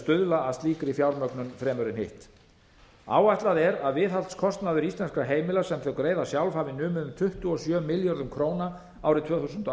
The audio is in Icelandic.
stuðla að slíkri fjármögnun fremur en hitt áætlað er að viðhaldskostnaður íslenskra heimila sem þau greiða sjálf hafi numið um tuttugu og sjö milljörðum króna árið tvö þúsund og